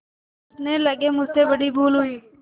सोचने लगेमुझसे बड़ी भूल हुई